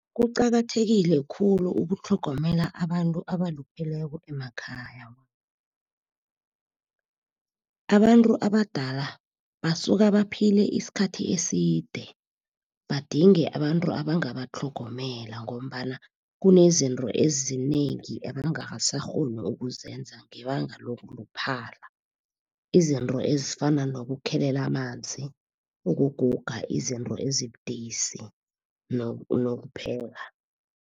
Kuqakathekile khulu ukutlhogomela abantu abalupheleko emakhaya. Abantu abadala basuka baphile isikhathi eside, badinge abantu abangatlhogomela ngombana kunezinto ezinengi abangasakghoni ukuzenza, ngebanga lokuluphala. Izinto ezifana nokukhelela amanzi, ukuguga izinto ezibudisi nokupheka.